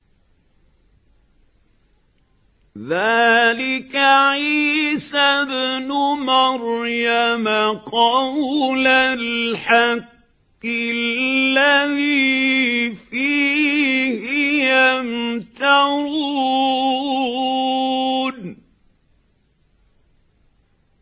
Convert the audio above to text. ذَٰلِكَ عِيسَى ابْنُ مَرْيَمَ ۚ قَوْلَ الْحَقِّ الَّذِي فِيهِ يَمْتَرُونَ